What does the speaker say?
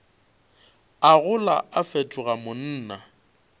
a gola a fetoga monna